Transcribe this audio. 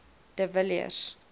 de villiers